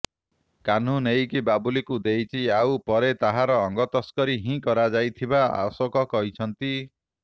କାହ୍ନୁ ନେଇକି ବାବୁଲିକୁ ଦେଇଛି ଆଉ ପରେ ତାହାର ଅଙ୍ଗତସ୍କରୀ ହିଁ କରାଯାଇଥିବା ଅଶୋକ କହିଛନ୍ତି